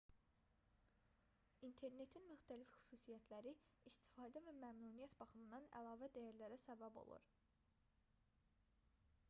i̇nternetin müxtəlif xüsusiyyətləri istifadə və məmnuniyyət baxımından əlavə dəyərlərə səbəb olur